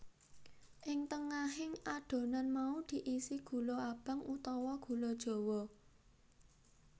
Ing tengahing adonan mau diisi gula abang utawa gula jawa